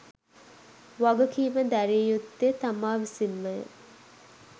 වගකීම දැරිය යුත්තේ තමා විසින්මය.